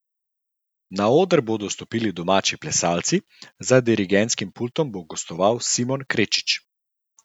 Na oder bodo stopili domači plesalci, za dirigentskim pultom bo gostoval Simon Krečič.